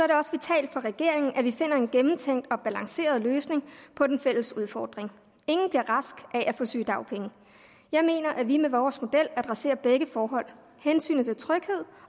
det også vitalt for regeringen at vi finder en gennemtænkt og balanceret løsning på den fælles udfordring ingen bliver rask af at få sygedagpenge jeg mener at vi med vores model adresserer begge forhold hensynet til tryghed